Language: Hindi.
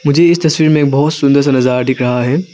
मुझे इस तस्वीर में बहुत सुंदर सा नजारा दिख रहा है।